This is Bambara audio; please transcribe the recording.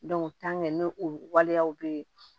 n'o o waleyaw bɛ yen